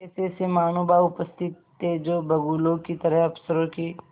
ऐसेऐसे महानुभाव उपस्थित थे जो बगुलों की तरह अफसरों की